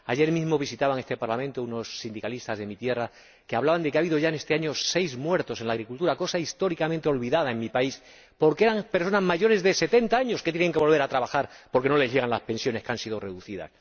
Ayer mismo visitaban este Parlamento unos sindicalistas de mi tierra que hablaban de que ha habido ya, en este año, seis muertos en la agricultura, cosa históricamente olvidada en mi país, porque eran personas mayores de 70 años que tuvieron que volver a trabajar porque no les llegaban las pensiones, que han sido reducidas.